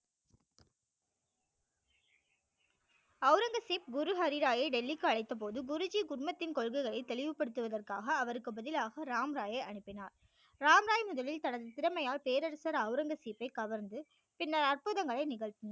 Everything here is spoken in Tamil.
ஔரங்கசீப் குரு ஹரி ராய் யை டெல்லிக்கு அழைத்த போது குரு ஜி குடும்பத்தின் கொள்கைகளை தெளிவுப்படுத்துவதற்காக அவர்க்கு பதிலாக ராம் ராயை அனுப்பினார் ராம் ராய் முதலில் தனது திறமையால் பேரரசர் ஔரங்கசீப்பை கவர்ந்து பின்னர் அற்புத மழை நிகழ்த்தினார்